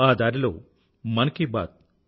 ఆ దారిలో మన్ కీ బాత్ ఒక